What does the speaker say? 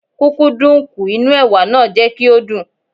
Kúkúǹdùkú inú Ẹ̀wà náà jẹ́ kí ó dùn.